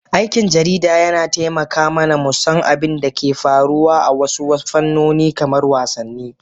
aikin jarida yana taimaka mana mu san abin da ke faruwa a wasu fannoni kamar wasanni.